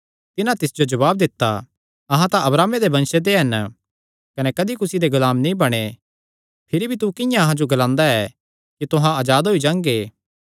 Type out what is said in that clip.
तिन्हां तिस जो जवाब दित्ता अहां तां अब्राहमे दे वंशे ते हन कने कदी कुसी दे गुलाम नीं बणैं भिरी तू किंआं अहां जो ग्लांदा ऐ कि तुहां अजाद होई जांगे